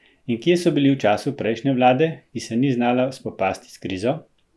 In kje so bili v času prejšnje vlade, ki se ni znala spopasti s krizo?